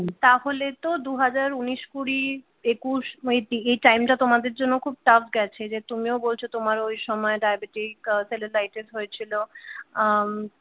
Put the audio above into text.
তাহলে তো দুহাজার উনিশ কুড়ি একুশ এই টাইমটা তোমাদের জন্য খুব টাফ গেছে যে তুমিও বলছো তোমার ওই সময় diabetic cellulitis হয়েছি আহ